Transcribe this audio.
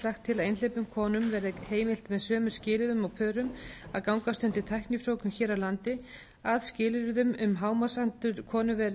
til að einhleypum konum verði heimilt með sömu skilyrðum og pörum að gangast undir tæknifrjóvgun hér á landi að skilyrðum um hámarksaldur konu